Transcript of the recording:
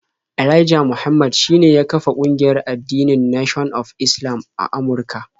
Elijah Muhammad shine ya kafar kungiyar addinin Nation of Islam a Amurka.